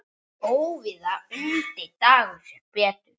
Óvíða undi Dagur sér betur.